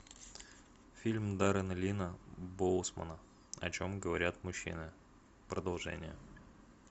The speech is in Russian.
фильм даррена линна боусмана о чем говорят мужчины продолжение